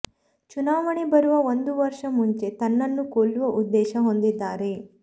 ಚುನಾವಣೆ ಬರುವ ಒಂದು ವರ್ಷ ಮುಂಚೆ ತನ್ನನ್ನು ಕೊಲ್ಲುವ ಉದ್ದೇಶ ಹೊಂದಿದ್ದಾರೆ